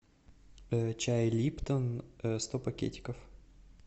чай липтон сто пакетиков